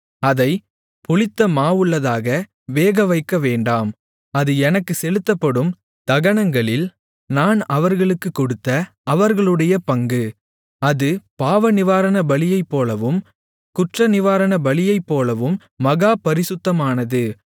அதைப் புளித்தமாவுள்ளதாக வேகவைக்கவேண்டாம் அது எனக்கு செலுத்தப்படும் தகனங்களில் நான் அவர்களுக்குக் கொடுத்த அவர்களுடைய பங்கு அது பாவநிவாரண பலியைப்போலவும் குற்றநிவாரணபலியைப் போலவும் மகா பரிசுத்தமானது